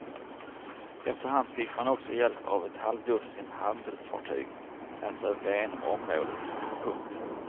Efter hand fick man också hjälp av ett halvdussin handelsfartyg med att söka igenom området. punkt